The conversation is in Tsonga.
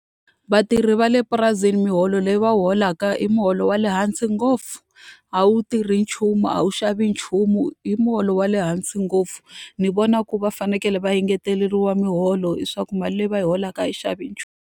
Vatirhi va le purasini miholo leyi va wu holaka i muholo wa le hansi ngopfu, a wu tirhi nchumu, a wu xavi nchumu, i muholo wa le hansi ngopfu. Ni vona ku va fanekele va engeteleriwa miholo leswaku mali leyi va yi holaka a yi xavi nchumu.